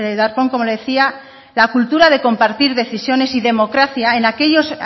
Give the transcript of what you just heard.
darpón como le decía la cultura de compartir decisiones y democracia en aquellos